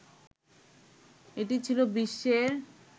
এটি ছিল বিশ্বের